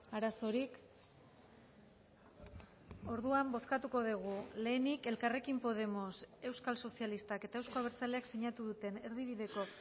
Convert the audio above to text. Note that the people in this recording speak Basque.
arazorik orduan bozkatuko dugu lehenik elkarrekin podemos euskal sozialistak eta euzko abertzaleak sinatu duten erdibideko